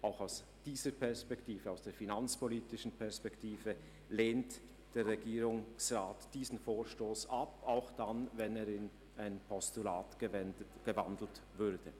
Auch aus der finanzpolitischen Perspektive lehnt der Regierungsrat diesen Vorstoss ab, auch wenn er in ein Postulat gewandelt würde.